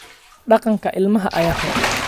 Dhaqanka ilmaha ayaa xun